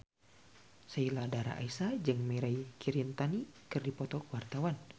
Sheila Dara Aisha jeung Mirei Kiritani keur dipoto ku wartawan